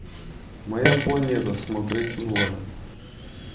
моя планета смотреть онлайн